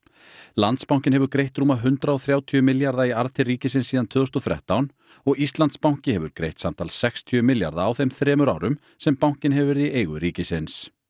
Landsbankinn hefur greitt rúma hundrað og þrjátíu milljarða í arð til ríkisins síðan tvö þúsund og þrettán og Íslandsbanki hefur greitt samtals sextíu milljarða á þeim þremur árum sem bankinn hefur verið í eigu ríkisins